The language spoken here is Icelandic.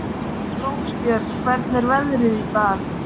Elly, hvenær kemur áttan?